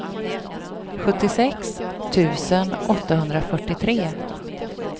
sjuttiosex tusen åttahundrafyrtiotre